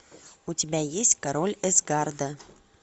у тебя есть король асгарда